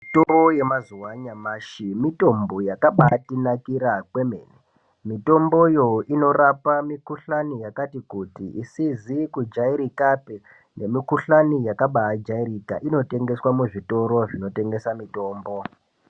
Mitombo ye mazuva anyamashi mitombo yakabai tinakira kwemene mitomboyo inorapa mi kuhlani yakati kuti isizi ku jairikapi ne mi kuhlani yakabai jairika inotengeswa mu zvitoro zvino tengesa mitombo.